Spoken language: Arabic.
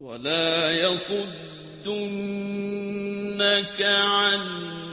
وَلَا يَصُدُّنَّكَ عَنْ